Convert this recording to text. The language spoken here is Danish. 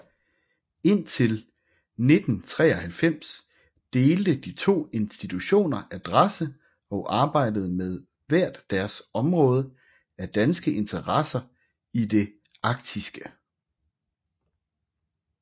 Indtil 1993 delte de to institutioner adresse og arbejdede med hvert deres område af danske interesser i det arktiske